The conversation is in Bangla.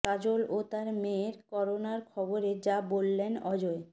কাজল ও তার মেয়ের করোনার খবরে যা বললেন অজয়